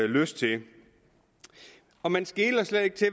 lyst til og man skeler slet ikke til